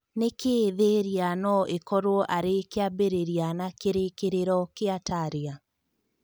Nĩkĩĩ Thĩria no ĩkorwo arĩ kĩambĩrĩria na kĩrĩkĩrĩro kĩa Taria?